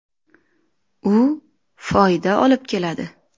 U foyda olib keladi.